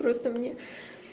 просто мне